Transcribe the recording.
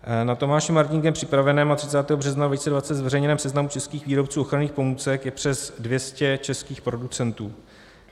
Na Tomášem Martínkem připraveném a 30. března 2020 zveřejněném seznamu českých výrobců ochranných pomůcek je přes 200 českých producentů.